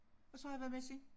Og så har jeg været med siden